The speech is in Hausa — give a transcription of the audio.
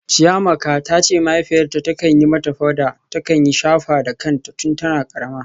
Chiamaka ta ce mahaifiyarta ta kan yi mata powder ta kayan shafa da kanta tun tana karama.